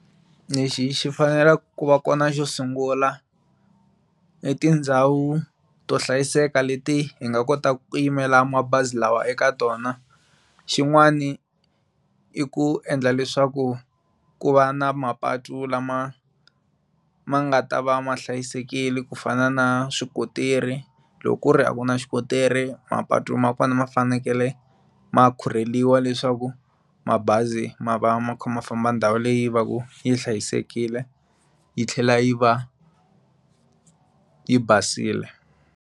Lexi xi fanelaku ku va kona xo sungula i tindhawu to hlayiseka leti hi nga kotaka ku yimela mabazi lawa eka tona xin'wani i ku endla leswaku ku va na mapatu lama ma nga ta va ma hlayisekile ku fana na swi kotiri loko ku ri a ku na xikotiri ka mapatu ma kona ma fanekele ma khurheliwa leswaku mabazi ma va ma kha ma famba ndhawu leyi vaku yi hlayisekile yi tlhela yi va yi basile.